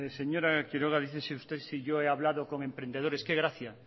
señora quiroga dice usted si yo he hablado con emprendedores qué gracia